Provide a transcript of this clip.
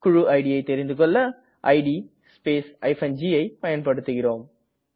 குழு idஐ தெரிந்துகெள்ள இட் ஸ்பேஸ் gஐ பயன்படுத்துகிறேம்